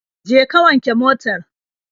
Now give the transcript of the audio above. Je ka wanke motar.